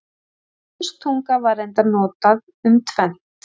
Dönsk tunga var reyndar notað um tvennt.